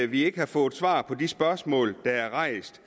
vi ikke har fået svar på de spørgsmål der er rejst